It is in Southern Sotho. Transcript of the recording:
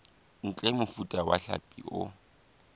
ntle mofuta wa hlapi o